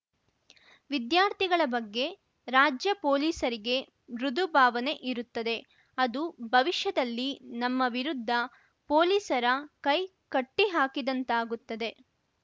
ವಿದ್ಯಾರ್ಥಿಗಳ ಬಗ್ಗೆ ರಾಜ್ಯ ಪೊಲೀಸರಿಗೆ ಮೃದು ಭಾವನೆ ಇರುತ್ತದೆ ಅದು ಭವಿಷ್ಯದಲ್ಲಿ ನಮ್ಮ ವಿರುದ್ಧ ಪೊಲೀಸರ ಕೈ ಕಟ್ಟಿಹಾಕಿದಂತಾಗುತ್ತದೆ